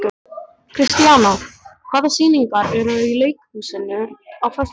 Kristíanna, hvaða sýningar eru í leikhúsinu á föstudaginn?